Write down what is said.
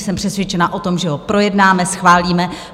Jsem přesvědčena o tom, že ho projednáme, schválíme.